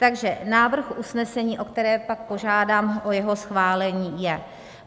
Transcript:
Takže návrh usnesení, o které pak požádám o jeho schválení, je: